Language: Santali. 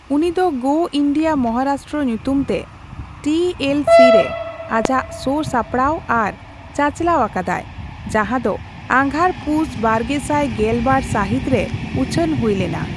ᱩᱱᱤ ᱫᱚ ᱜᱳ ᱤᱱᱰᱤᱭᱟ ᱢᱚᱦᱟᱨᱟᱥᱴᱨᱚ ᱧᱩᱛᱩᱢᱛᱮ ᱴᱤ ᱮᱞ ᱥᱤ ᱼᱨᱮ ᱟᱡᱟᱜ ᱥᱳ ᱥᱟᱯᱲᱟᱣ ᱟᱨ ᱪᱟᱪᱞᱟᱣ ᱟᱠᱟᱫᱟᱭ, ᱡᱟᱦᱟᱸ ᱫᱚ ᱟᱸᱜᱷᱟᱲᱼᱯᱩᱥ ᱵᱟᱨᱜᱮᱥᱟᱭ ᱜᱮᱞᱵᱟᱨ ᱥᱟᱹᱦᱤᱛ ᱨᱮ ᱩᱪᱷᱟᱹᱱ ᱦᱩᱭ ᱞᱮᱱᱟ ᱾